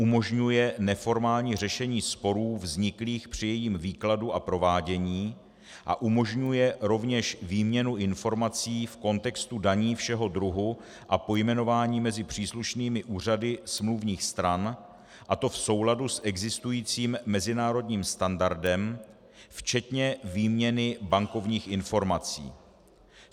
Umožňuje neformální řešení sporů vzniklých při jejím výkladu a provádění a umožňuje rovněž výměnu informací v kontextu daní všeho druhu a pojmenování mezi příslušnými úřady smluvních stran, a to v souladu s existujícím mezinárodním standardem, včetně výměny bankovních informací.